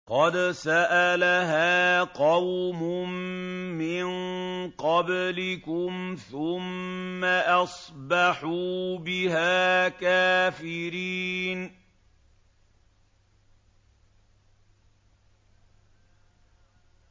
قَدْ سَأَلَهَا قَوْمٌ مِّن قَبْلِكُمْ ثُمَّ أَصْبَحُوا بِهَا كَافِرِينَ